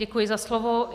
Děkuji za slovo.